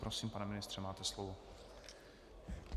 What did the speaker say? Prosím, pane ministře, máte slovo.